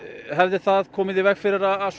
hefði það komið í veg fyrir að